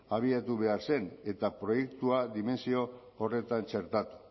abiatu behar zen eta proiektua dimentsio horretan txertatu